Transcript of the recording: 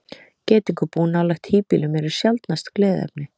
Geitungabú nálægt híbýlum eru sjaldnast gleðiefni.